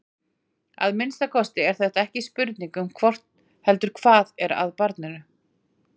Að minnsta kosti er þetta ekki spurning um hvort heldur hvað er að barninu.